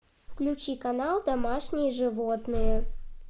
включи канал домашние животные